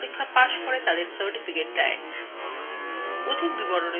যারা online পরীক্ষা pass করে তাদের certificates দেয়